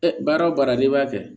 baara o baara n'i b'a kɛ